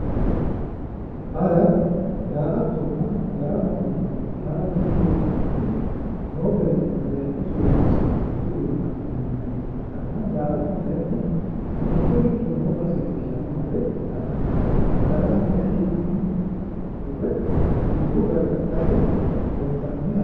Hara, daa'atonna daramatte yineemoti, hara mittu manchi noo bayiichunni bayiichu sooro assawo woyiitte leelitanno milimillo ikkitanna, daa'atto kayiinni mittoricho noo base marre la'naniha ikkanna, darama kayiini hee'nooniwa agure lubbo gargadhatte xoonqaniha.